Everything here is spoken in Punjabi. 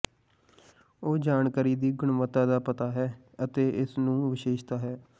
ਉਹ ਜਾਣਕਾਰੀ ਦੀ ਗੁਣਵੱਤਾ ਦਾ ਪਤਾ ਹੈ ਅਤੇ ਇਸ ਨੂੰ ਵਿਸ਼ੇਸ਼ਤਾ ਹੈ